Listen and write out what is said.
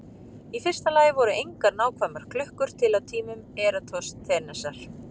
Í fyrsta lagi voru engar nákvæmar klukkur til á tímum Eratosþenesar.